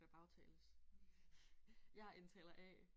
Der bagtales. Jeg er indtaler A